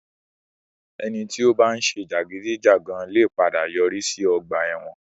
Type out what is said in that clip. Ẹni tí ó bá ń ṣe jàgídíjàgan lè padà yọrí sí ọgbà ẹ̀wọ̀n.